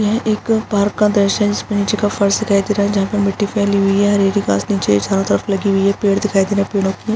यह एक पार्क का दृश्य है जिसमें नीचे का फर्स दिखाई दे रहा है जहां पर मिट्टी फैली हुई है हरी-हरी घास नीचे है चरों तरफ लगी हुई है पेड़ दिखाई दे रहे है पेड़ो की --